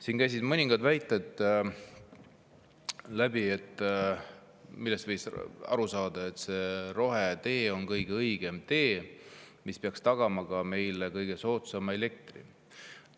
Siin kõlasid mõningad väited, millest võis aru saada, et rohetee on kõige õigem tee, mis peaks meile tagama ka kõige soodsama elektri.